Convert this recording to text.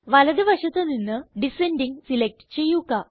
വലത് വശത്ത് നിന്ന് ഡിസെൻഡിംഗ് സിലക്റ്റ് ചെയ്യുക